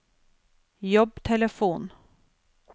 jobbtelefon